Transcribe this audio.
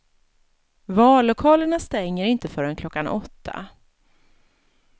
Vallokalerna stänger inte förrän klockan åtta.